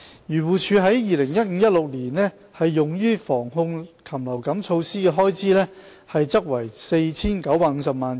漁護署在 2015-2016 年度用於防控禽流感措施的開支為 4,950 萬元。